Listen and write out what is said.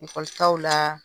Ekɔlitaw la